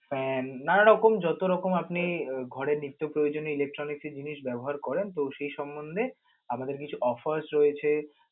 Fan নানা রকম যত রকম আপনি ঘরের নিত্য প্রয়োজনীয় electronic জিনিস ব্যবহার করেন তো সে সমন্ধে আমাদের কিছু offers রয়েছে.